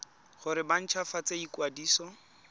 gore ba nt hwafatse ikwadiso